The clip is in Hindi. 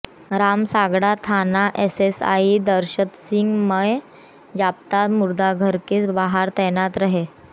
रामसागड़ा थाना एएसआई दशरथसिंह मय जाब्ता मुर्दाघर के बाहर तैनात रहे